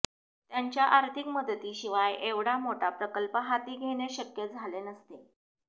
त्यांच्या आर्थिक मदतीशिवाय एव्हढा मोठा प्रकल्प हाती घेणे शक्यच झाले नसते